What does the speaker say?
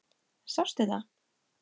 Sástu þetta?